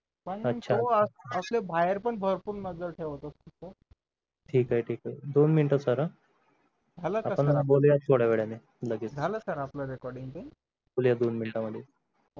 पण तो असले बाहेर पण भरपूर नजर ठेवत असतो तर ठीक आहे ठीक आहे दोन minute झालं का sir आपण आता बोलूया थोड्यावेळाने लगेच झालं sir आपलं Recording ते बोलूया दोन minute मध्ये